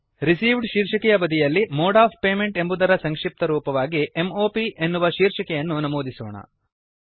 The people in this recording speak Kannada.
Receivedಶೀರ್ಷಿಕೆಯ ಬದಿಯಲ್ಲಿ ಮೋಡ್ ಒಎಫ್ ಪೇಮೆಂಟ್ ಎಂಬುವುದರ ಸಂಕ್ಷಿಪ್ತರೂಪವಾಗಿ M O Pಎನ್ನುವ ಶೀರ್ಷಿಕೆಯನ್ನು ನಮೂದಿಸೋಣ